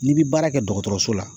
N'i bi baara kɛ dɔgɔtɔrɔso la